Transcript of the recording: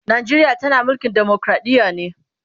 Najeriya tana mulkin demokradiya ne